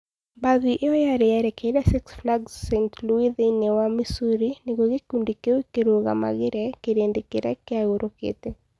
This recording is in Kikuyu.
Mbathi ĩyo yarĩ yerekeire Six Flags St. Louis thĩinĩ wa Missouri nĩguo gĩkundi kĩu kĩrũgamagĩre kĩrĩndĩ kĩrĩa kĩagũrũkĩte.